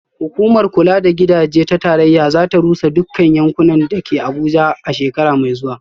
Hukumar kula da gidaje ta tarayya za ta rusa dukkan yankunan da ke Abuja a shekara mai zuwa